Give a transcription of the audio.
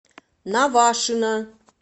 навашино